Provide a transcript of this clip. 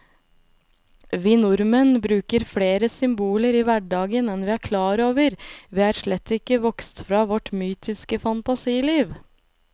Vi nordmenn bruker flere symboler i hverdagen enn vi er klar over, vi er slett ikke vokst fra vårt mytiske fantasiliv.